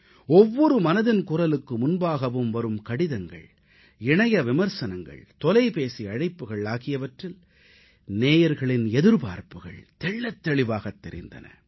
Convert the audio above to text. ஒவ்வொரு மனதின் குரலுக்கு முன்பாகவும் வரும் கடிதங்கள் இணைய விமர்சனங்கள் தொலைபேசி அழைப்புகள் ஆகியவற்றில் நேயர்களின் எதிர்பார்ப்புகள் தெள்ளத் தெளிவாகத் தெரிந்தன